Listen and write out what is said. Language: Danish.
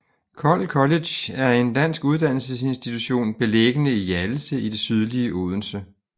Kold College er en dansk uddannelsesinstitution beliggende i Hjallese i det sydlige Odense